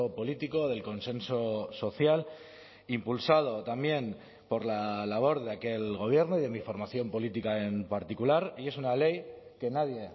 político del consenso social impulsado también por la labor de aquel gobierno y de mi formación política en particular y es una ley que nadie